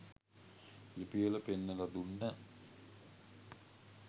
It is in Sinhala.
ලිපිවල පෙන්නල දුන්න..